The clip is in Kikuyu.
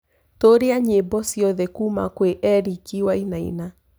tuuria nyĩmbo cĩothe kũũma kwi Eric wainaina